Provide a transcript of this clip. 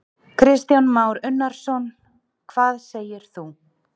Kristján Már Unnarsson: Hvað segir þú?